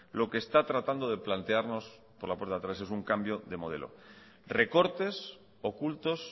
lo que está tratando de plantearnos por la puerta de atrás es un cambio de modelo recortes ocultos